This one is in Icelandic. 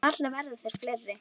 Varla verða þeir fleiri.